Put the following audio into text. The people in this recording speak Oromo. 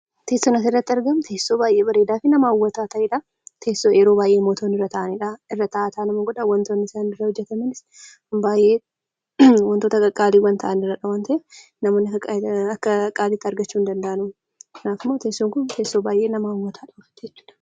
Fakkiin nuti asirratti arginu teessoo baay'ee bareedaafi nama hawwatu ta'edha. Teessoo yeroo baay'ee mootonni irra ta'anidha. Irra ta'aa ta'aa nama godha. Wantonni inni irraa hojjetames baay'ee wantoota gaggaarii ta'anidha namoonni akka salphaatti argachuu hindanda'an. Teessoon kun tessoo baay'ee nama hawwatudha.